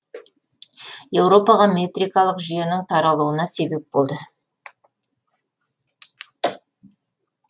еуропаға метрикалық жүйенің таралуына себеп болды